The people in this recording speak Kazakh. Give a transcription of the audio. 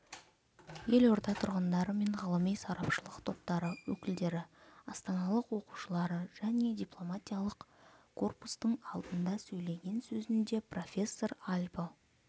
елорда тұрғындары мен ғылыми-сарапшылық топтары өкілдері астаналық оқушылары және дипломатиялық корпустың алдында сөйлеген сөзінде профессор альбо